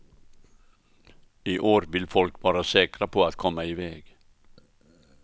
I år vill folk vara säkra på att komma iväg.